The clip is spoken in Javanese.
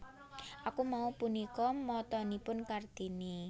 Aku Mau punika motonipun Kartini